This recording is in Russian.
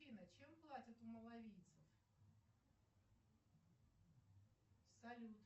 афина чем платят у малавийцев салют